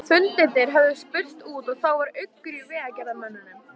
Fundirnir höfðu spurst út og það var uggur í vegagerðarmönnum.